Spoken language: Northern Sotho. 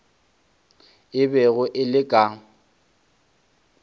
e bego e le ka